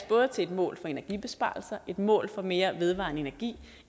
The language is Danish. både et mål for energibesparelser et mål for mere vedvarende energi